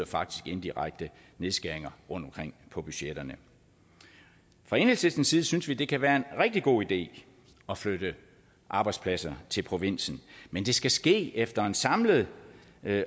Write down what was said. faktisk indirekte nedskæringer rundtomkring på budgetterne fra enhedslistens side synes vi det kan være en rigtig god idé at flytte arbejdspladser til provinsen men det skal ske efter en samlet